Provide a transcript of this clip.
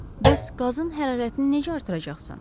Bəs qazın hərarətini necə artıracaqsan?